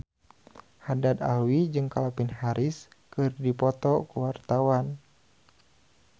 Haddad Alwi jeung Calvin Harris keur dipoto ku wartawan